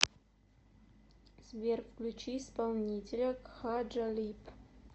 сбер включи исполнителя кха джалиб